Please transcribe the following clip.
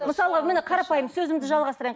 мысалға міне қарапайым сөзімді жалғастырайын